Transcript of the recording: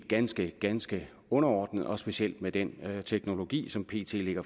ganske ganske underordnet og specielt med den teknologi som pt